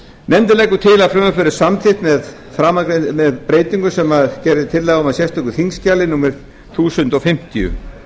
nefndin leggur til að frumvarpið verði samþykkt með breytingum sem gerð er tillaga um í sérstöku þingskjali númer eitt þúsund fimmtíu